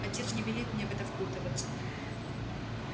отец не велит мне в это впутываться